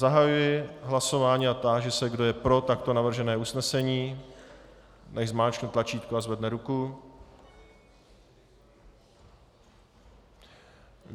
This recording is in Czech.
Zahajuji hlasování a táži se, kdo je pro takto navržené usnesení, nechť zmáčkne tlačítko a zvedne ruku.